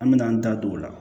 An me n'an da don o la